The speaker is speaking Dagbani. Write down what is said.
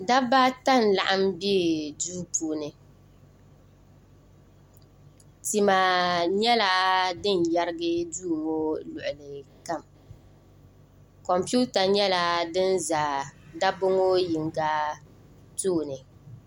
da baata n laɣim bɛ do puuni tima nyɛla din yɛrigi do ŋɔ luɣili kam komipɛwuta nyɛla dini tam daba ŋɔ yino tuuni